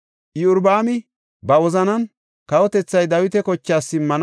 Iyorbaami ba wozanan, “Kawotethay Dawita kochaas simmana.